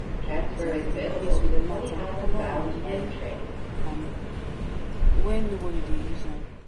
di place with mat and cover am when am when nobody dey use am.